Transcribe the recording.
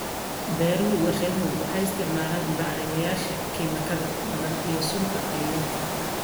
Beeraha warshaduhu waxay isticmaalaan bacrimiyeyaasha kiimikaad badan iyo sunta cayayaanka.